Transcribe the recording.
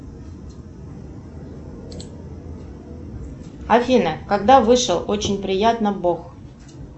афина когда вышел очень приятно бог